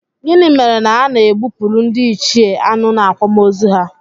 Gịnị mere na a na-egbupụrụ ndịichie anụ n'akwamozu ha?